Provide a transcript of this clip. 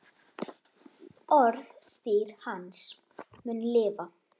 Orðstír hans mun lifa.